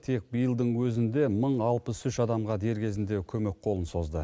тек биылдың өзінде мың алпыс үш адамға дер кезінде көмек қолын созды